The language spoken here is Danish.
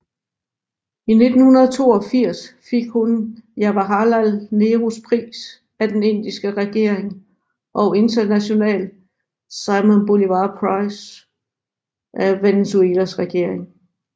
I 1992 fik hun Jawaharlal Nehrus Pris af den Indiske regering og International Simón Bolívar Prize af Venezuelas regering